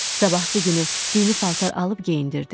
Sabahısı günü dini paltar alıb geyindirdi.